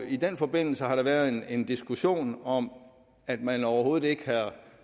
i den forbindelse har der været en diskussion om at man overhovedet ikke havde